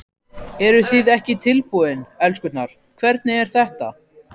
Eruð þið ekki tilbúin, elskurnar, hvernig er þetta?